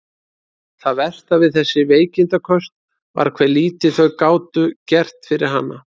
Það versta við þessi veikindaköst var hve lítið þau gátu gert fyrir hana.